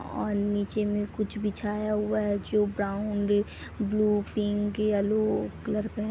और नीचे में कुछ बिछाया हुआ है जो brown blue pink yellow colour का है।